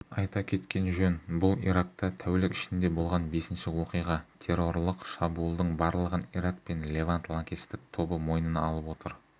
айта кеткен жөн бұл иракта тәулік ішінде болған бесінші оқиға террорлық шабуылдың барлығын ирак пен левант лаңкестік тобы мойнына алып отыр